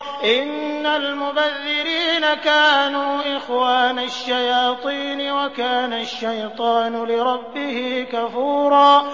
إِنَّ الْمُبَذِّرِينَ كَانُوا إِخْوَانَ الشَّيَاطِينِ ۖ وَكَانَ الشَّيْطَانُ لِرَبِّهِ كَفُورًا